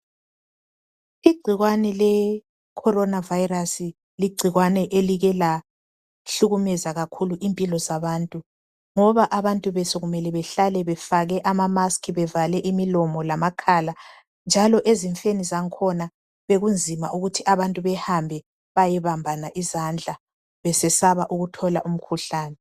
Igcikwane le corona virus ligcikwane elike lahlukumeza kakhulu impilo zabantu ngoba abantu besokumele behlale befake ama musk bevale imilomo lamakhala njalo ezifeni zakhona bekunzima ukuthi abantu behambe beyebambana izandla besesaba ukuthola umkhuhlane.